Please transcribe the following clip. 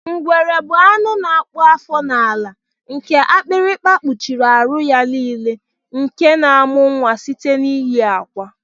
Ngwere bu anụ na akpụ afọ n'ala nke akpịrịkpa kpuchiri aru ya nile nke na amụ nwa site n'iyi akwa.